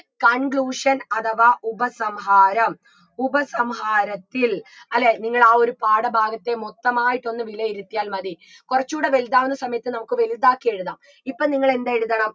conclusion അധവാ ഉപസംഹാരം ഉപസംഹാരത്തിൽ അല്ലേ നിങ്ങളാ ഒരു പാഠഭാഗത്തെ മൊത്തമായിട്ടൊന്ന് വിലയിരുത്തിയാൽ മതി കൊറച്ചൂടെ വലുതാവുന്ന സമയത്ത് നമുക്ക് വലുതാക്കി എഴുതാം ഇപ്പൊ നിങ്ങളെന്തെഴുതണം